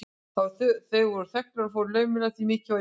Þeir voru þögulir og fóru laumulega, því mikið var í húfi.